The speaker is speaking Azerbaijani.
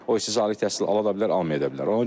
O istərsə ali təhsil ala da bilər, almayada bilər.